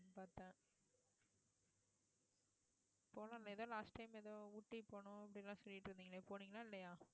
போன மெதுவா last time ஏதோ ஊட்டி போனோம் அப்படி எல்லாம் சொல்லிட்டு இருந்தீங்களே போனீங்களா இல்லையா